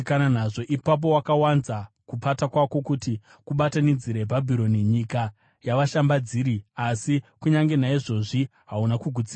Ipapo wakawanza kupata kwako kuti kubatanidzire Bhabhironi, nyika yavashambadziri, asi kunyange naizvozvi hauna kugutsikana.